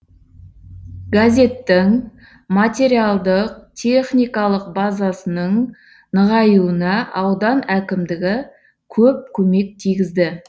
газеттің материалдық техникалық базасының нығаюына аудан әкімдігі көп көмек тигізді